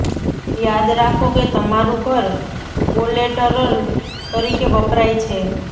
યાદ રાખો કે તમારું ઘર કોલેટરલ તરીકે વપરાય છે